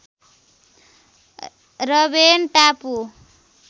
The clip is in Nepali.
रबेन टापु